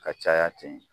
Ka caya ten